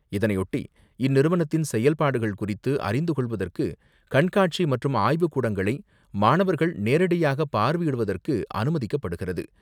இதனையொட்டி இந்நிறுவனத்தின் செயல்பாடுகள் குறித்து அறிந்துகொள்வதற்கு கண்காட்சி மற்றும் ஆய்வுக் கூடங்களை மாணவர்கள் நேரடியாக பார்வையிடுவதற்கு அனுமதிக்கப்படுகிறது.